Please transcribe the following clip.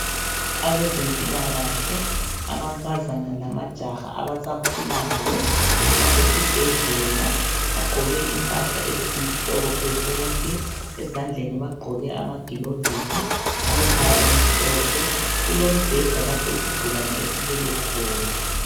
Abezempilakahle, amankazana lamajaha abasakhulayo basesibhedlela bagqoke impahla ezimhlophe bonke ezandleni bagqoke amagilovisi alombala omhlophe. Kulombheda lapho isigulani esilele khona.